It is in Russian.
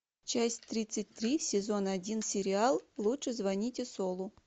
часть тридцать три сезон один сериал лучше звоните солу